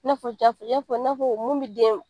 I na fɔ jafe, i ya fɔ i na fɔ mun bi den